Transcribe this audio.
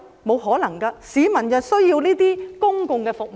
不可能，市民需要這些公共服務。